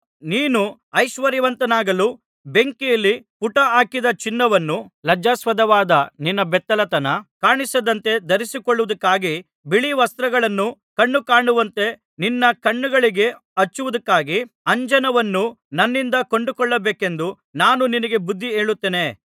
ನೀನು ಐಶ್ವರ್ಯವಂತನಾಗಲು ಬೆಂಕಿಯಲ್ಲಿ ಪುಟಾಹಾಕಿದ ಚಿನ್ನವನ್ನೂ ಲಜ್ಜಾಸ್ಪದವಾದ ನಿನ್ನ ಬೆತ್ತಲೆತನ ಕಾಣಿಸದಂತೆ ಧರಿಸಿಕೊಳ್ಳುವುದಕ್ಕಾಗಿ ಬಿಳೀವಸ್ತ್ರಗಳನ್ನೂ ಕಣ್ಣುಕಾಣುವಂತೆ ನಿನ್ನ ಕಣ್ಣುಗಳಿಗೆ ಹಚ್ಚುವುದಕ್ಕಾಗಿ ಅಂಜನವನ್ನೂ ನನ್ನಿಂದ ಕೊಂಡುಕೊಳ್ಳಬೇಕೆಂದು ನಾನು ನಿನಗೆ ಬುದ್ಧಿ ಹೇಳುತ್ತೇನೆ